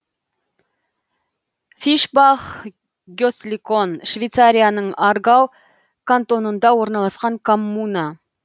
фишбах гесликон швейцарияның аргау кантонында орналасқан коммуна